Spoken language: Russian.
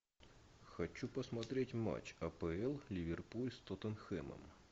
хочу посмотреть матч апл ливерпуль с тоттенхэмом